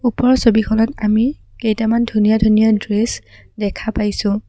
ওপৰৰ ছবিখনত আমি কেইটামান ধুনীয়া ধুনীয়া ড্ৰেছ দেখা পাইছোঁ।